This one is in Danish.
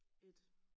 Et